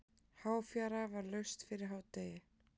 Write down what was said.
Háfjara var laust fyrir hádegi.